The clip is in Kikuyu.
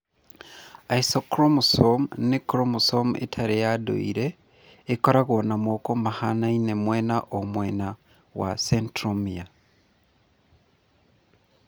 Isochromosome nĩ chromosome ĩtarĩ ya ndũire ĩkoragwo na moko mahanaine mwena o mwena wa centromere.